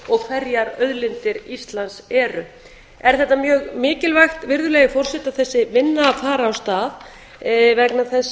og hverjar auðlindir íslands eru er þetta mjög mikilvægt virðulegi forseti að þessi vinna fari af stað vegna þess